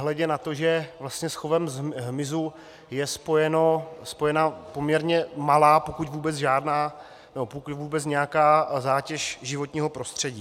Nehledě na to, že vlastně s chovem hmyzu je spojena poměrně malá, pokud vůbec žádná, nebo pokud vůbec nějaká zátěž životního prostředí.